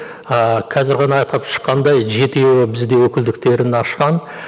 ыыы қазір ғана атап шыққандай жетеуі бізде өкілдіктерін ашқан